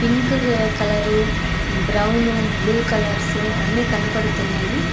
Pink colour brown blue colours అన్ని కనపడుతున్నాయి.